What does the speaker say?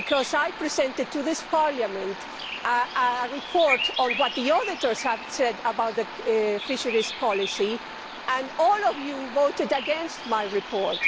I presented to this Parliament a report on what the Auditors have said about the common fisheries policy and all of you voted against my report.